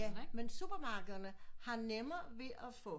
Ja men supermarkederne har nemmere ved at få